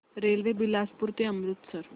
railway Bilaspur ते अमृतसर